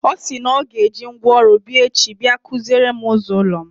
Ọ sị na ọ ga-eji ngwaọrụ abịa echi bia kụziere m ụzọ ụlọ m.